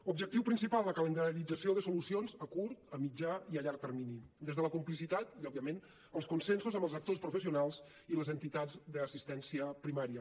objectiu principal la calendarització de solucions a curt a mitjà i a llarg termini des de la complicitat i òbviament els consensos amb els actors professionals i les entitats d’assistència primària